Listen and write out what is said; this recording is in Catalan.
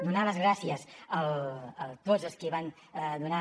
donar les gràcies a tots els qui van donar